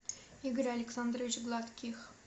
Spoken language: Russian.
игорь александрович гладких